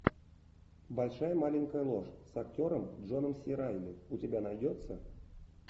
большая маленькая ложь с актером джоном си райли у тебя найдется